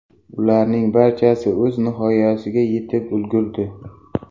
Ularning barchasi o‘z nihoyasiga yetib ulgurdi.